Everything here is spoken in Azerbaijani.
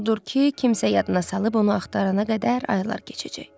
Odur ki, kimsə yadına salıb onu axtarana qədər aylar keçəcək.